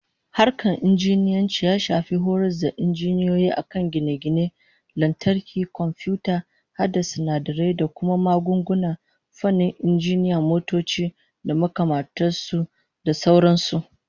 Fannin Injiniyanci ya shafi horas da injiniyoyi a kan gine-gine, lantarki, komfiyuta, hada sinadarai da kuma magunguna, fannin injinan motoci da makamantar su, da sauran su